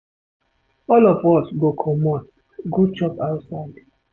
All of us go comot go chop outside for today.